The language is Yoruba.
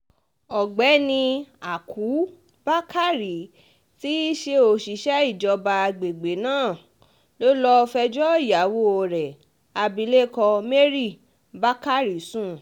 ọ̀gbẹ́ni ákú bakari tí í ṣe òṣìṣẹ́ ìjọba àgbègbè náà ló lọ́ọ́ fẹjọ́ ìyàwó rẹ̀ abilékọ mary bakari sùn